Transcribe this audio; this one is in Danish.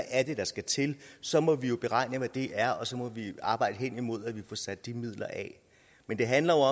er der skal til så må vi jo beregne hvad det er og så må vi arbejde hen imod at vi får sat de midler af men det handler